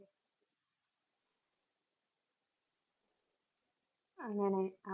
അങ്ങനെ